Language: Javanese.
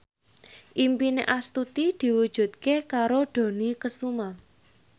impine Astuti diwujudke karo Dony Kesuma